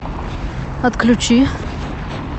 отключи